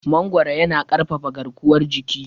Mangoro yana ƙarfafa garkuwar jiki.